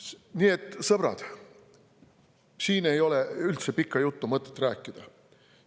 Nii et, sõbrad, siin ei ole üldse mõtet pikka juttu rääkida.